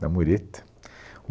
da mureta.